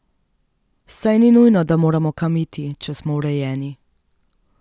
Saj ni nujno, da moramo kam iti, če smo urejeni!